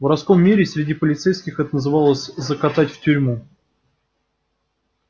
в воровском мире и среди полицейских это называлось закатать в тюрьму